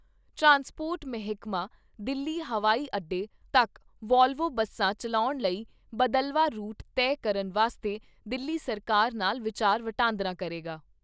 Transport ਮਹਿਕਮਾ, ਦਿੱਲੀ ਹਵਾਈ ਅੱਡੇ ਤੱਕ ਵੋਲਵੋ ਬੱਸਾਂ ਚੱਲਾਉਣ ਲਈ, ਬਦਲਵਾਂ ਰੂਟ ਤੈਅ ਕਰਨ ਵਾਸਤੇ, ਦਿੱਲੀ ਸਰਕਾਰ ਨਾਲ ਵਿਚਾਰ ਵਟਾਂਦਰਾ ਕਰੇਗਾ।